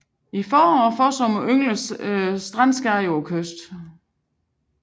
I forår og forsommer yngler strandskade på kysten